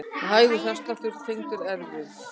Hægur hjartsláttur tengdur erfðum